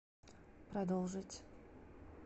продолжить